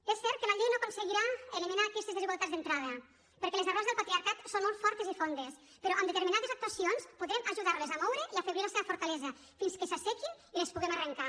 és cert que la llei no aconseguirà eliminar aquestes desigualtats d’entrada perquè les arrels del patriarcat són molt fortes i fondes però amb determinades actuacions podrem ajudarles a moure i a afeblir la seva fortalesa fins que s’assequin i les puguem arrencar